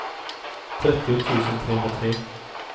trettio tusen trehundratre